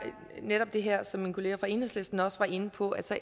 netop det her som min kollega fra enhedslisten også var inde på altså